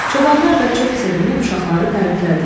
Çobanlar da çox sevinib uşaqları təriflədilər.